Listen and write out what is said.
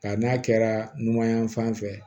Ka n'a kɛra numanyanfan fɛ